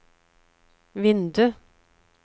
vindu